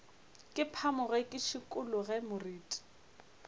ke phamoge ke šikologe moriti